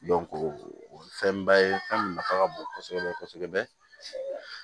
o ye fɛnba ye fɛn min nafa ka bon kosɛbɛ kosɛbɛ